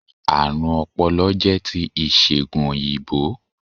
Àrùn ọpọlọ jẹ́ ti ìsègùn òyìnbó